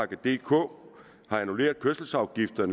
dk har annulleret de kørselsafgifter